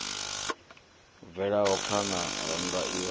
bvelaho phana rannda iwe na